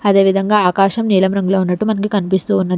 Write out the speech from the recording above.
అదేవిధంగా ఆకాశం నీలం రంగులో ఉన్నట్టు మనకి కనిపిస్తూ ఉన్నది.